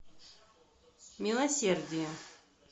милосердие